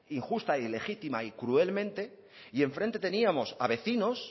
injusta ilegítima y cruelmente y enfrente teníamos a vecinos